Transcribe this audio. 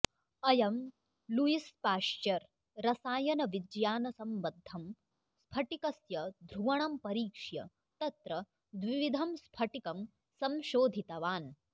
अयं Louis Pasteur रसायनविज्ञानसम्बद्धं स्फटिकस्य ध्रुवणं परीक्ष्य तत्र द्विविधं स्फटिकं संशोधितवान्